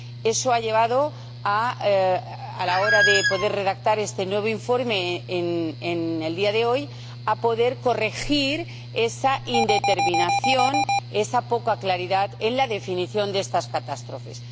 Eso ha llevado, a la hora de poder redactar este nuevo informe en el día de hoy, a poder corregir esa indeterminación y esa poca claridad en la definición de estas catástrofes.